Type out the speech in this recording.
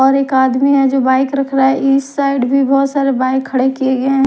और एक आदमी है जो बाइक रख रहा है इस साइड भी बहुत सारे बाइक खड़े किए गए हैं।